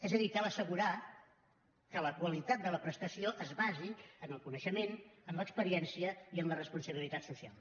és a dir cal assegurar que la qualitat de la prestació es basi en el coneixement en l’experiència i en la responsabilitat social